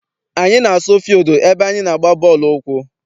Anyị na-asu fildu ebe anyị na-agba bọọlụ ụkwụ.